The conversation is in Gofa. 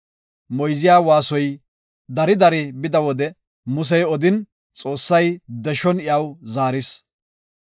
Moyziya waasoy dari dari bida wode Musey odin, Xoossay deshon iyaw zaaris.